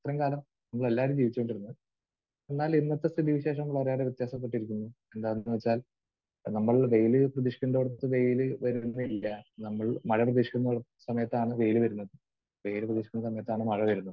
ഇത്രയും കാലം നമ്മളെല്ലാവരും ജീവിച്ചുകൊണ്ടിരുന്നത്. എന്നാൽ ഇന്നത്തെ സ്ഥിതിവിശേഷം കുറേയേറെ വ്യത്യാസപ്പെട്ടിരിക്കുന്നു. എന്താണെന്ന് വെച്ചാൽ നമ്മൾ വെയിൽ പ്രതീക്ഷിക്കുന്നിടത്ത് വെയിൽ വരുന്നില്ല. നമ്മൾ മഴ പ്രതീക്ഷിക്കുന്ന സമയത്താണ് വെയിൽ വരുന്നത്. വെയിൽ പ്രതീക്ഷിക്കുന്ന സമയത്താണ് മഴ വരുന്നത്.